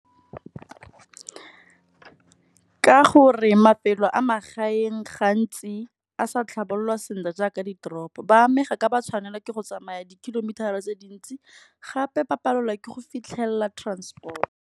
Ka gore mafelo a magaeng gantsi a sa tlhabololwa sentle jaaka ditoropo. Ba amega ka ba tshwanelwa ke go tsamaya di kilometer tse dintsi, gape ba palelwa ke go fitlhelela transport.